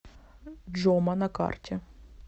джома на карте